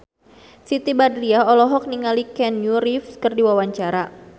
Siti Badriah olohok ningali Keanu Reeves keur diwawancara